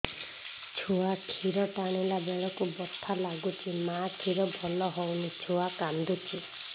ଛୁଆ ଖିର ଟାଣିଲା ବେଳକୁ ବଥା ଲାଗୁଚି ମା ଖିର ଭଲ ହଉନି ଛୁଆ କାନ୍ଦୁଚି